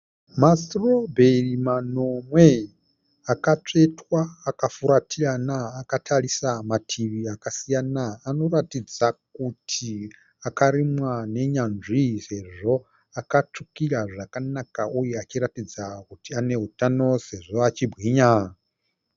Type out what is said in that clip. Masitobheri manomwe akatsvetwa akafuratirana akatarisa mativi akasiyana. Anoratidza kuti akarimwa nenyanzvi sezvo akatsvukira zvakanaka uye achiratidza kuti anehutano sezvo achibwinya.